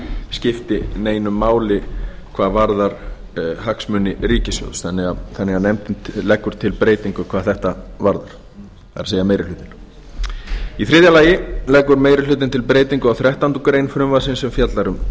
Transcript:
skipti neinu máli hvað varðar hagsmuni ríkissjóðs þannig að nefndin leggur til breytingu hvað þetta varðar það er meiri hlutinn í þriðja lagi leggur meiri hlutinn til breytingu á þrettándu greinar frumvarpsins er fjallar um